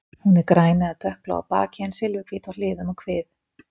Hún er græn eða dökkblá á baki en silfurhvít á hliðum og kvið.